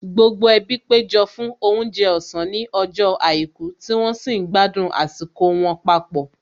Gbogbo ẹbí péjọ fún oúnjẹ ọ̀sán ní ọjọ́ àìkú tí wọ́n sì ń gbádùn àsìkò wọn papọ̀